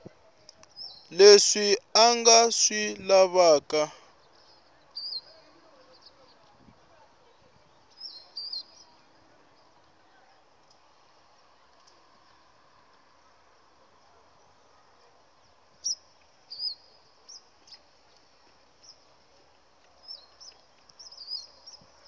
leswi a nga swi lavaka